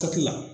Kaki la